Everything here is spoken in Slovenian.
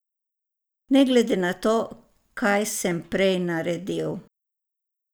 Ne glede na to, kaj sem prej naredil ...